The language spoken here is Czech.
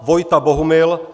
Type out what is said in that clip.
Vojta Bohumil